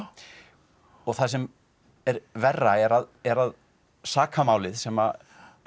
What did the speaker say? og það sem er verra er að er að sakamálið sem